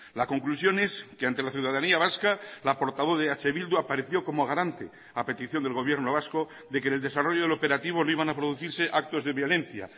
la conclusión es que ante la ciudadanía vasca la portavoz de eh bildu apareció como garante a petición del gobierno vasco de que en el desarrollo del operativo no iban a producirse actos de violencia